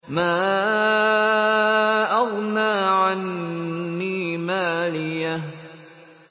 مَا أَغْنَىٰ عَنِّي مَالِيَهْ ۜ